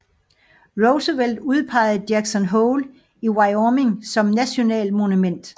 Roosevelt udpegede Jackson Hole i Wyoming som National Monument